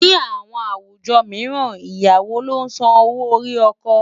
Ní àwọn àwùjọ mìíràn, Ìyàwó ló ń san owó orí ọkọ.